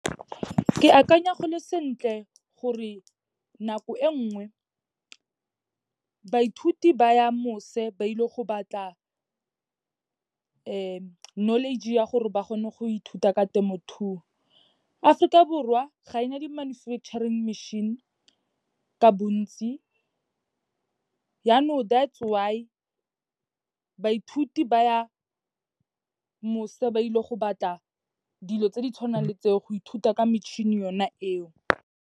Ke akanya go le sentle gore nako e nngwe, baithuti ba ya mose ba ile go batla knowledge-e ya gore ba kgone go ithuta ka temothuo. Aforika Borwa ga ena di-manufacturing machine ka bontsi, yanong that is why, baithuti ba ya mose ba ile go batla dilo tse di tshwanang le tseo, go ithuta ka metšhini yona eo.